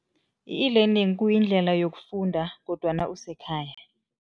I-e-learning kuyindlela yokufunda kodwana usekhaya.